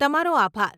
તમારો આભાર.